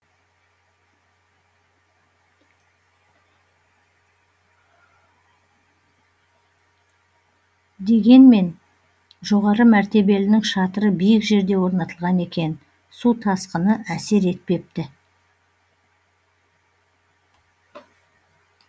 дегенмен жоғары мәртебелінің шатыры биік жерде орнатылған екен су тасқыны әсер етпепті